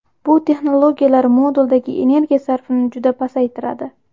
Bu texnologiyalar moduldagi energiya sarfini juda pasaytiradi.